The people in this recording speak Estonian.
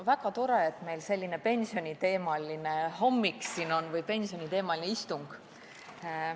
Väga tore, et meil on siin selline pensioniteemaline hommik või istung.